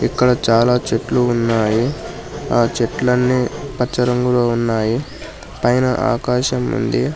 అక్కడ చాలా చెట్లు ఉన్నాయి ఆ చెట్లన్నీ పచ్చ రంగులో ఉన్నాయి పైన ఆకాశం ఉంది.